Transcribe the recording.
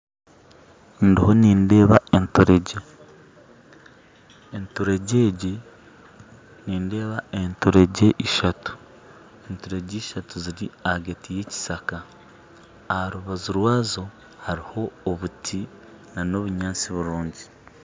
Ndiho nindeeba enturegye ishatu ziri ahagati y'ekishaaka aha rubanju rwazo hariho obuti n'obunyaatsi burungi